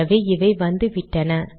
ஆகவே இவை வந்துவிட்டன